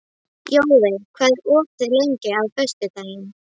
Jóvin, hvað er opið lengi á föstudaginn?